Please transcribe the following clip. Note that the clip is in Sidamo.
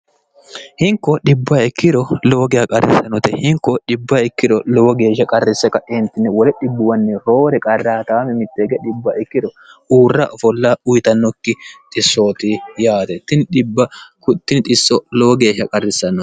hinko dhibba ikkiro lowo gea qarrise note hinko dhibba ikkiro lowo geeshsha qarrisse kaeentine wole dhibbuwanni hoori qrr0a mitteege dbb ikkiro uurra ofoll uyitannokki xissooti yaate ti dbb kttin iso lowo geeshsha qarrisanno